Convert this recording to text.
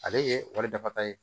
Ale ye wale dafa ye